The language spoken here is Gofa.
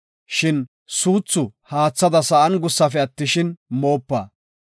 Shin suuthi haathada sa7an gussafe attishin, moopa.